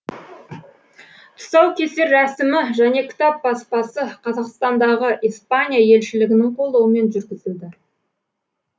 тұсаукесер рәсімі және кітап баспасы қазақстандағы испания елшілігінің қолдауымен жүргізілді